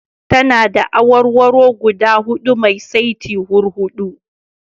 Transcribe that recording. Tana da awarwaro guda huɗu mai saitin hurhuɗu.